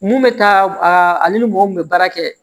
Mun bɛ taa ale ni mɔgɔ mun bɛ baara kɛ